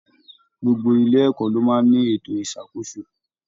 Gbogbo ilé ẹ̀kọ́ ló máa n ní ètò isakoso.